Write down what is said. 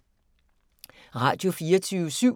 Radio24syv